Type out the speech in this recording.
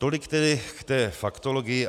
Tolik tedy k té faktologii.